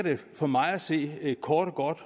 for mig at se kort